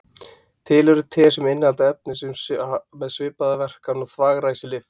Til eru te sem innihalda efni með svipaða verkan og þvagræsilyf.